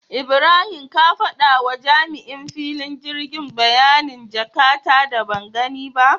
Ibrahim ka faɗawa jami'in filin girgi bayanin jaka ta da bangani ba